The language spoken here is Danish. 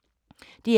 DR1